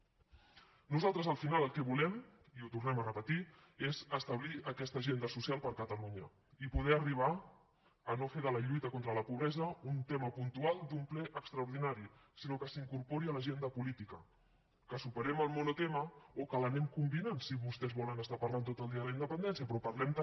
nosaltres al final el que volem i ho tornem a repetir és establir aquesta agenda social per a catalunya i poder arribar a no fer de la lluita contra la pobresa un tema puntual d’un ple extraordinari sinó que s’incorpori a l’agenda política que superem el monotema o que l’anem combinant si vostès volen estar parlant tot el dia de la independència però parlem també